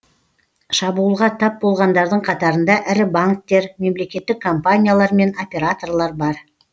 шабуылға тап болғандардың қатарында ірі банктер мемлекеттік компаниялар мен операторлар бар